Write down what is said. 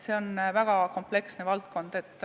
See on väga kompleksne valdkond.